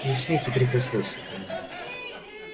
не смейте прикасаться ко мне